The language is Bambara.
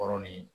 Kɔrɔ ni